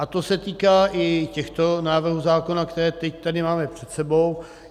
A to se týká i těchto návrhů zákona, které teď tady máme před sebou.